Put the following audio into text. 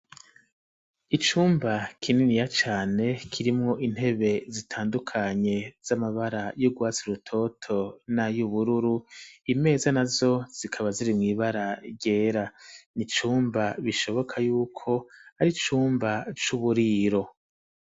Icumba kininiya cane, kirimwo intebe zitandukanye z'amabara y'urwatsi urutoto n’ay'ubururu, imeza nazo zikaba ziri mw’ibara ryera; ni icumba bishoboka y’uko ari icumba c'uburiro.